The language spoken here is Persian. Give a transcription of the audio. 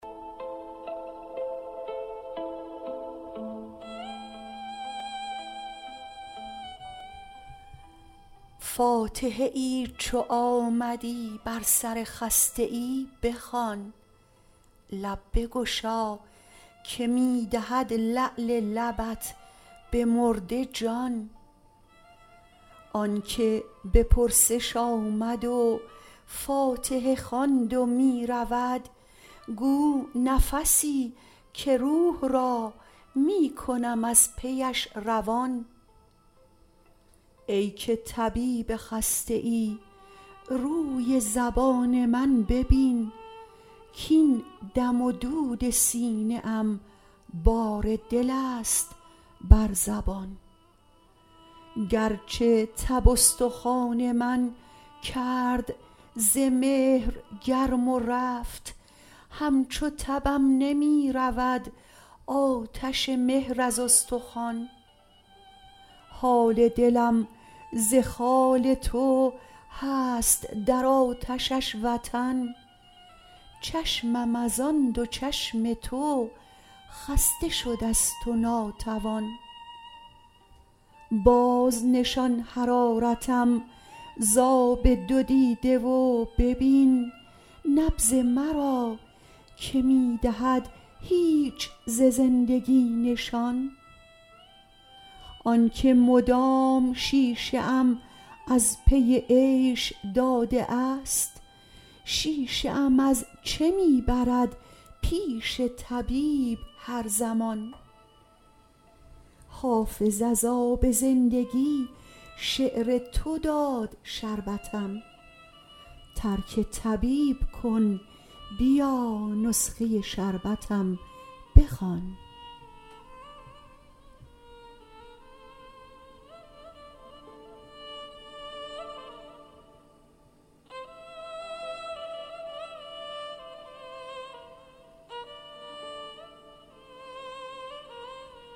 فاتحه ای چو آمدی بر سر خسته ای بخوان لب بگشا که می دهد لعل لبت به مرده جان آن که به پرسش آمد و فاتحه خواند و می رود گو نفسی که روح را می کنم از پیش روان ای که طبیب خسته ای روی زبان من ببین کـاین دم و دود سینه ام بار دل است بر زبان گرچه تب استخوان من کرد ز مهر گرم و رفت همچو تبم نمی رود آتش مهر از استخوان حال دلم ز خال تو هست در آتشش وطن چشمم از آن دو چشم تو خسته شده ست و ناتوان بازنشان حرارتم ز آب دو دیده و ببین نبض مرا که می دهد هیچ ز زندگی نشان آن که مدام شیشه ام از پی عیش داده است شیشه ام از چه می برد پیش طبیب هر زمان حافظ از آب زندگی شعر تو داد شربتم ترک طبیب کن بیا نسخه شربتم بخوان